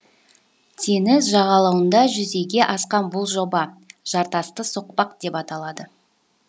теңіз жағалауында жүзеге асқан бұл жоба жартасты соқпақ деп аталады